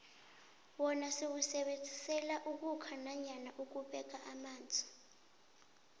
wona siwusebenzisela ukhukha nanyana ukubeka amanzi